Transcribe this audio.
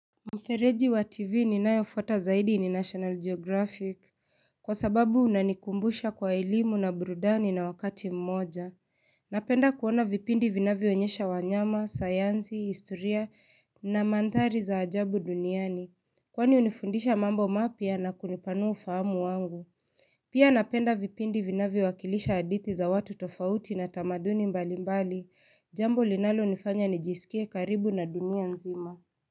Mfereji wa tv ninayo fuata zaidi ni national geographic. Kwa sababu unanikumbusha kwa elimu na burudani na wakati mmoja Napenda kuona vipindi vinavyo onyesha wanyama, sayansi, historia na mandhari za ajabu duniani. Kwani hunifundisha mambo mapya na kunipanua ufahamu wangu Pia napenda vipindi vinavyo wakilisha hadithi za watu tofauti na tamaduni mbali mbali jambo linalo nifanya nijisikie karibu na dunia nzima.